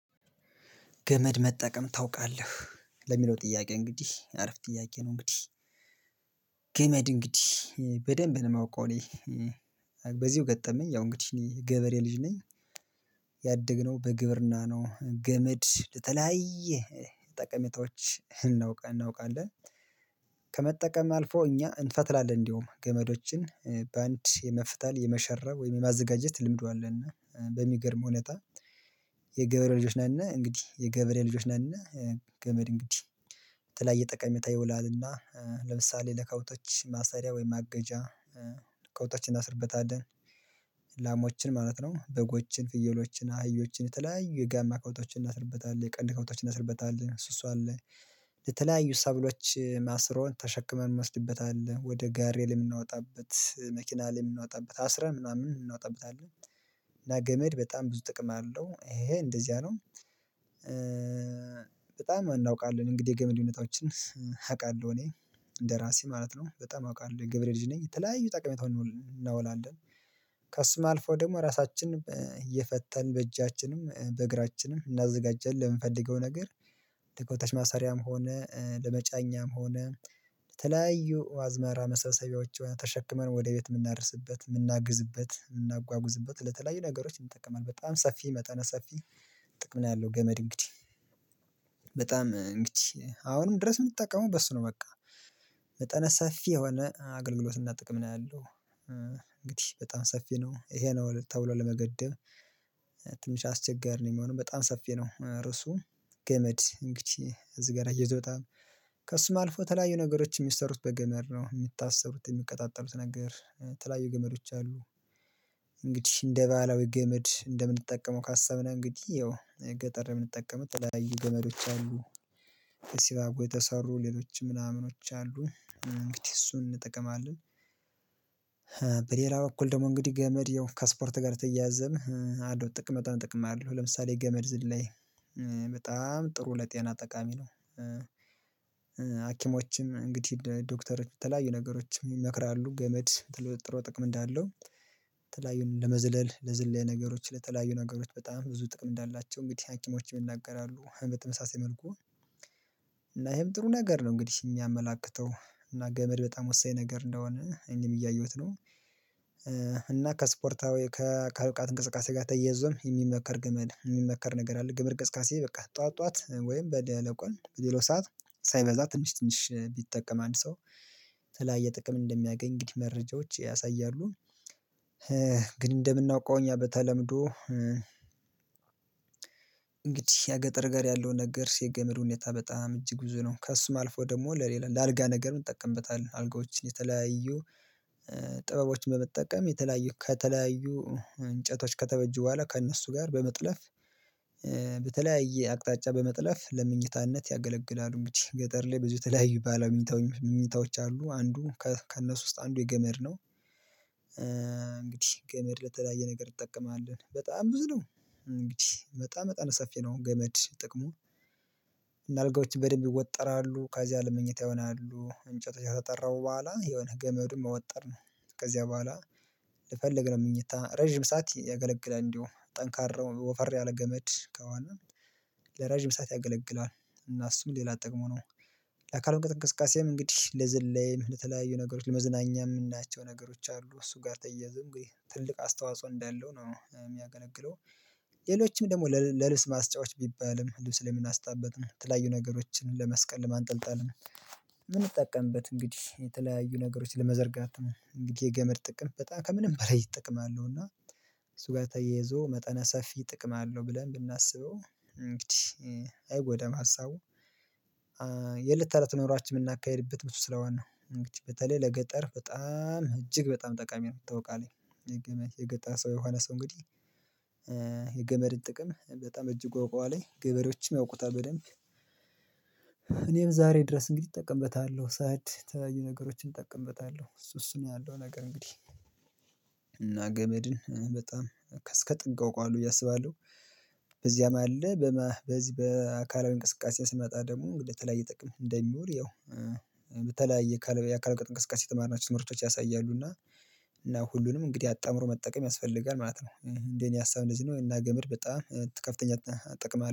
ገመድ መጠቀም ታውቃለህ ለሚለው ጥያቄ እንግዲህ አረፍ ጥያቄ ነው? እንግዲህ ገመድ እንግዲህ በደንብ ነው የማውቀው እኔ። በዚሁ ገጠመኝ ያው እንግዲህ እኔ ገበሬ ልጅ ነኝ። ያደግነው በግብርና ነው ገመድ ለተለያየ ጠቀሜታዎች እናውቃለን። ከመጠቀም አልፎ እኛ እንፈትላለን እንደውም ገመዶችን በአንድ የመፍተል የመሸረብ ወይም የማዘጋጀት ልምዱ አለን እና በሚገርም ሁኔታ የገበሬ ልጆች ነን። እና እንግዲህ የገበሬ ልጆች ነን እና ገመድ እንግዲህ በተለያየ ጠቀሜታ ይውላልና ለምሳሌ ለከብቶች ማሰሪያ ወይም ማገጃ ከብቶች አናስርበታለን። ላሞችን ማለት ነው በጎችን ፍየሎችን አህዮችን የተለያዩ የጋማ ከብቶችን እናስርበታለን የቀንድ ከብቶዎችን እናስርበታለን እሱ እሱ አለ። የተለያዩ ሰብሎች ማስሮን ተሸክመን እንወስድበታለን ወደ ጋሬ ላይ የምናወጣበት መኪና ላይ የምናወጣበት አስረን ምናምን እናወጣበታለን አለ። እና ገመድ በጣም ብዙ ጥቅም አለው ይሄ እንደዚያ ነው። በጣም እናውቃለን እንግዲህ የገመድ ሁኔታዎችን አውቃለሁ እኔ እንደራሴ ማለት ነው በጣም አውቃለሁ የገበሬ ልጅ ነኝ የተለያዩ ጠቃሚታውን እናውላለን። ከሱም አልፎ ደግሞ ራሳችንም እየፈተልን በእጃችንም በእግራችንም እናዘጋጀለን ለምንፈልገው ነገር ለከብቶች ማሰሪያም ሆነ ለመጫኛም ሆነ የተለያዩ አዝመራ መሰብሰቢያዎች ተሸክመን ወደ ቤት የምናደርስበት የምናግዝበት የምናጓጉዝበት ለተለያዩ ነገሮች እንጠቀማለን በጣም ሰፊ መጠነ ሰፊ። ጥቅም ላይ ያለው ገመድ እንግዲህ በጣም እንግዲህ አሁንም ድረስ የምትጠቀመው በሱ ነው በቃ መጠነ ሰፊ የሆነ አገልግሎት እና ጥቅም ነው ያለው። እንግዲህ በጣም ሰፊ ነው ይሄ ነው ተብሎ ለመገደብ አስቸጋሪ ነው የሚሆነው በጣም ሰፊ ነው ርዕሱ። ገመድ እንግዲህ እዚህ ጋር እየዞታም ከእሱ አልፎ ተለያዩ ነገሮች የሚሰሩት በገመድ ነው የሚታሰሩት የሚቀጣጠሉት ነገር የተለያዩ ገመዶች አሉ። እንግዲህ እንደ ባለው ገመድ እንደምንጠቀመው ካሰብን እንግዲህ ያው ገጠር የምንጠቀመው የተለያየ ገመዶች አሉ። ሲባጎ የተሰሩ ሌሎች ምናምኖች አሉ እንግዲህ እሱን እንጠቀማለን። በሌላ በኩል ደግሞ እንግዲህ ገመድ ያው ከስፖርት ጋር ተያይዘን አለው ጥቅም በጣም ጥቅም አለው ለምሳሌ ገመድ ዝላይ በጣም ጥሩ ለጤና ጠቃሚ ነው። ሀኪሞችም እንግዲህ ዶክተሮች በተለያዩ ነገሮችን ይመክራሉ ገመድ ተለጥሮ ጥቅም እንዳለው የተለያዩን ለመዝለል ለዝለያ ነገሮች ለተለያዩ ነገሮች በጣም ብዙ ጥቅም እንዳላቸው እንግዲህ ሀኪሞችም ይናገራሉ በተመሳሳይ መልኩ። እና ይሄም ጥሩ ነገር ነው እንግዲህ የሚያመላክተው እና ገመድ በጣም ወሳኝ ነገር እንደሆነ እኔም እያየሁት ነው። እና ከስፖርታዊ ከአካል እንቅስቃሴ ጋር ተያይዞም የሚመከር ግመል የሚመከር ነገር አለ ገመድ ቅስቀሴ በቃ ጠዋት ጠዋት ወይም በደለቆን በሌላው ሰዓት ሳይበዛ ትንሽ ትንሽ ቢጠቀም አንድ ሰው ተለያየ ጥቅም እንደሚያገኝ እንግዲህ መረጃዎች ያሳያሉ። እንደምናውቀው እኛ በተለምዶ እንግዲህ የገጠር ጋር ያለውን ነገር ሴት ገመድ ሁኔታ በጣም እጅግ ብዙ ነው። ከሱም አልፎ ደግሞ ለሌላ ለአልጋ ነገር እንጠቀምበታለን አልጋዎችን የተለያዩ ጥበቦችን በመጠቀም የተለያዩ ከተለያዩ እንጨቶች ከተበጁ በኋላ ከእነሱ ጋር በመጥለፍ በተለያየ አቅጣጫ በመጥለፍ ለመኝታነት ያገለግላሉ እንግዲ ገጠር ላይ ብዙ የተለያዩ ባለምኝታዎች አሉ አንዱ ከእነሱ ውስጥ አንዱ የገመድ ነው። እንግዲህ ገመድ ለተለያየ ነገር እጠቀማለን በጣም ብዙ ነው እንግዲህ በጣም በጣም ሰፊ ነው ገመድ ጠቅሙ እና አልጋዎች በደንብ ይወጠራሉ ካዚያ ለመኝታ ይሆናሉ እንጨት ያከተጠረቡ በኋላ የሆነ ገመዱን መወጠር ነው። ከዚያ በኋላ ልፈልግ ነው ምኞታ ረጅም ሰዓት ያገለግላል እንዲሁ ጠንካራ ወፈር ያለ ገመድ ከሆነ ለረጅም ሰዓት ያገለግላል። እና እሱም ሌላ ጠቅሙ ነው ለአካል እንቅስቃሴም እንግዲህ ለዝላይም ለተለያዩ ነገሮች ለመዝናኛ የምናያቸው ነገሮች አሉ እሱ ጋር ተያይዘ እንግዲህ ትልቅ አስተዋጽኦ እንዳለው ነው የሚያገለግለው። ሌሎችም ደግሞ ለልብስ ማስጫወች ቢባልም ልብስ ላይ የምናስጣበትም የተለያዩ ነገሮችን ለመስቀል ለማንጠልጠልም ምንጠቀምበት እንግዲህ የተለያዩ ነገሮችን ለመዘርጋት እንግዲህ የገመድ ጥቅም በጣም ከምንም በላይ ይጠቅማሉ እና እሱ ጋር ተያይዞ መጠነ ሰፊ ጥቅም አለው ብለን ብናስበው እንግዲህ አይጎዳም ሀሳቡ። የለት ተረት ኖሯችን የምናካሂድበት ብዙ ስለሆነ ነው እንግዲህ በተለይ ለገጠር በጣም እጅግ በጣም ጠቃሚ ነው የታውቃለኝ የገመድ የገጠር ሰው የሆነ ሰው እንግዲህ የገመድን ጥቅም በጣም እጅ ያዉቃለሁኝ ገበሬዎችም ያውቁታል በደንብ። እኔም ዛሬ ድረስ እንግዲህ እጠቀምበታለሁ ሰዓት ታየው ነገሮችን እጠቀምበታለሁ እሱ እሱ ነው ያለው ነገር እንግዲህ እና ገመድን በጣም እስከ ጥግ አውቃለሁ ብዬ አስባለሁ። በዚያም አለ በዚህ በአካላዊ እንቅስቃሴ ስመጣ ደግሞ እንግዲህ ተለይ ጥቅም እንደሚዉል ያው በተለያየ የአካል ብቃት እንቅስቃሴ የተማርናቸው ትምህርቶች ያሳያሉ እና እና ሁሉንም እንግዲህ አጣምሮ መጠቀም ያስፈልጋል ማለት ነው። እንዴ እኔ ሀሳብ እንደዚህ ነው እና ገመድ በጣም ከፍተኛ አጠቅማለሁ